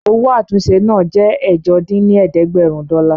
Owó àtúnṣe náà jẹ́ ẹ̀jọ dín ní ẹ̀ẹ́dẹ́gbẹ́rún dọ́là